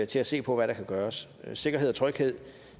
til at se på hvad der kan gøres sikkerhed og tryghed